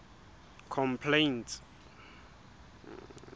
complaints